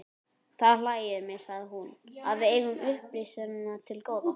Það hlægir mig, sagði hún,-að við eigum upprisuna til góða.